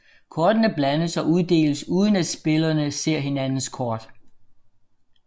Kortene blandes og uddeles uden at spillerne ser hinandens kort